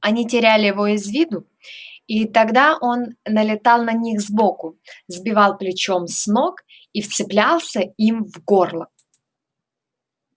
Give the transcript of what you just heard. они теряли его из виду и тогда он налетал на них сбоку сбивал плечом с ног и вцеплялся им в горло